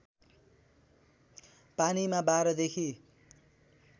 पानीमा १२ देखि